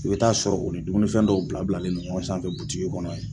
I bɛ taa sɔrɔ o ni dumunifɛn dɔw bila bilanen ɲɔngɔn sanfɛ butigi in kɔnɔ.